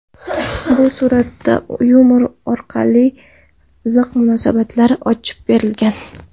Bu suratda yumor orqali iliq munosabatlar ochib berilgan.